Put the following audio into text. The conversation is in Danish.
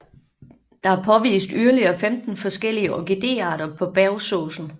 Der er påvist yderligere 15 forskellige orkidéarter på Bergsåsen